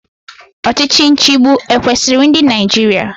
Ọchịchị nchịgbu ekwesiri ndị Naịjirịa?